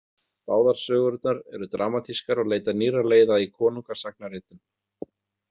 Báðar sögurnar eru dramatískar og leita nýrra leiða í konungasagnaritun.